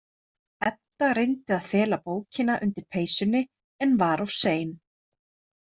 Edda reyndi að fela bókina undir peysunni en var of sein.